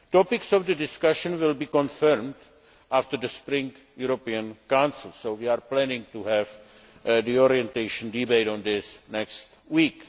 Topics for discussion will be confirmed after the spring European Council so we are planning to have the orientation debate on this next week.